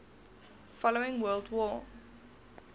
following world war